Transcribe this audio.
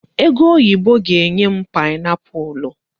Egoyibo ga-enye m paịnapụlụ.